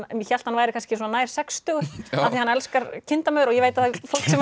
ég hélt hann væri kannski svona nær sextugu af því hann elskar kindamör og ég veit að fólk